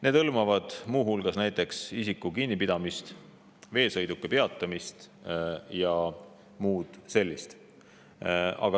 Need hõlmavad näiteks isiku kinnipidamist, veesõiduki peatamist ja muud sellist.